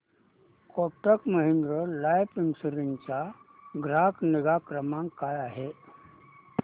Kotak Mahindra life insurance चा ग्राहक निगा क्रमांक काय आहे